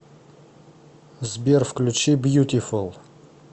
сбер включи бьютифул